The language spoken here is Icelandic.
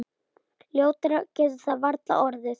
Ljótara getur það varla orðið.